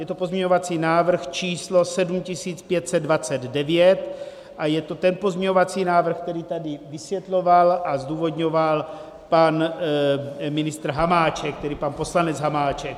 Je to pozměňovací návrh číslo 7529 a je to ten pozměňovací návrh, který tady vysvětloval a zdůvodňoval pan ministr Hamáček, tedy pan poslanec Hamáček.